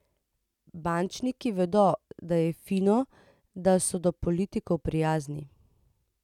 Bančniki vedo, da je fino, da so do politikov prijazni.